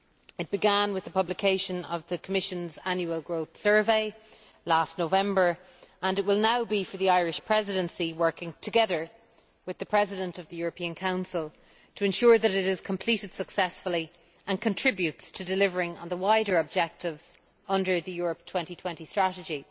It began with the publication of the Commission's Annual Growth Survey last November, and it will now be for the Irish Presidency, working together with the President of the European Council, to ensure that it is completed successfully and contributes to delivering on the wider objectives under the Europe 2020 Strategy.